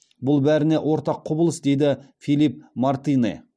бұл бәріне ортақ құбылыс дейді филипп мартинэ